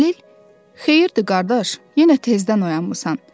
Xəlil, xeyirdir qardaş, yenə tezdən oyanmısan.